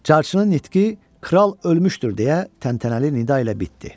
Carçının nitqi “Kral ölmüşdür” deyə təntənəli nida ilə bitdi.